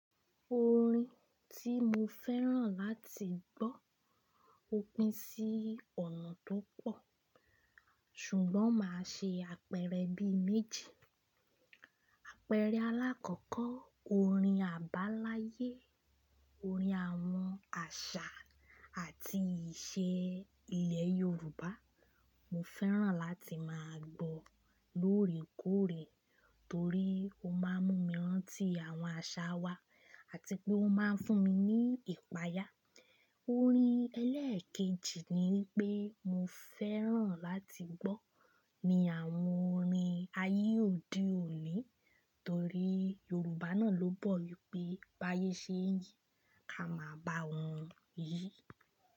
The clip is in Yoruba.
Orin tí mo fẹ́ràn láti gbọ́ òpin sí ọ̀nà tó pọ̀, ṣùgbọ́n màá ṣe àpẹẹrẹ bí méjì. Àpẹẹrẹ alákọ̀ọ́kọ́, orin àbáláyé, orin àwọn àṣà àti ìṣe ilẹ̀ Yorùbá mo fẹ́ràn láti máa gbọ́ lóòrèkóòrè torí ó máa ń mú mi rántí àwọn àṣà wa àti pé ó máa ń fún mi ní ìpayà. Orin ẹlẹ́ẹ̀kejì ni pé mo fẹ́ràn láti gbọ́ ni àwọn orin ayé òde òní torí Yorùbá náà ló bọ̀ wípé báyé ṣé ń yí, ká máa báa wọn yí.